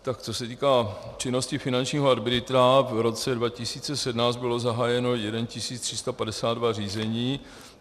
Tak co se týká činnosti finančního arbitra, v roce 2017 bylo zahájeno 1 352 řízení.